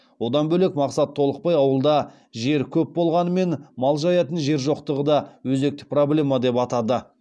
одан бөлек мақсат толықбай ауылда жер көп болғанымен мал жаятын жер жоқтығы да өзекті проблема деп атады